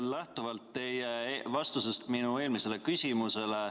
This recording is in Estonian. Lähtun teie vastusest minu eelmisele küsimusele.